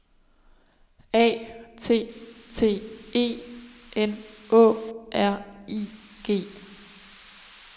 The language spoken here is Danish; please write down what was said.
A T T E N Å R I G